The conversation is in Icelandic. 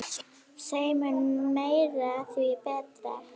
Þeim mun meira, því betra.